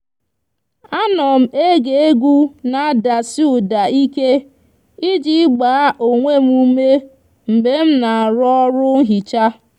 a nom ege egwu n'adasi uda ike iji gba onwe m ume mgbe mna aro oru nhicha